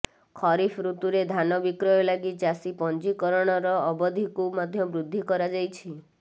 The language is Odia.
ଖରିଫ୍ ଋତୁରେ ଧାନ ବିକ୍ରୟ ଲାଗି ଚାଷୀ ପଞ୍ଜୀକରଣର ଅବଧିକୁ ମଧ୍ୟ ବୃଦ୍ଧି କରାଯାଇଛି